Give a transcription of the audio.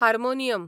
harmonium